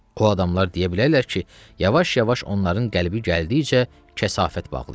O adamlar deyə bilərlər ki, yavaş-yavaş onların qəlbi gəldikcə kəsafət bağlayır.